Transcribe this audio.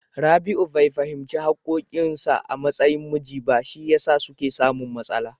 Rabi'u bai fahimci haƙƙoƙin sa a matsayin miji ba, shi yasa suke samun matsala.